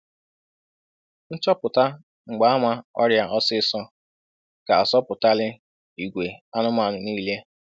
Nchọpụta mgbaama ọrịa ọsịsọ ga-azọpụtali igwe anụmanụ niile.